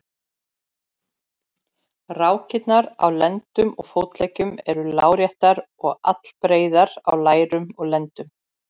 Rákirnar á á lendum og fótleggjum eru láréttar og allbreiðar á lærum og lendum.